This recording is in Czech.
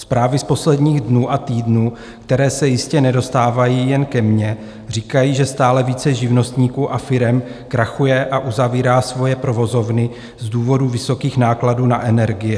Zprávy z posledních dnů a týdnů, které se jistě nedostávají jen ke mně, říkají, že stále více živnostníků a firem krachuje a uzavírá svoje provozovny z důvodu vysokých nákladů na energie.